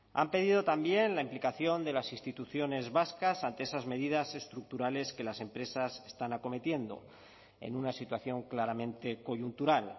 han pedido también la implicación de las instituciones vascas ante esas medidas estructurales que las empresas están acometiendo en una situación claramente coyuntural